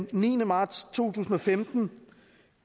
den niende marts to tusind og femten